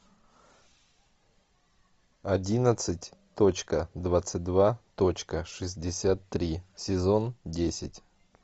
одиннадцать точка двадцать два точка шестьдесят три сезон десять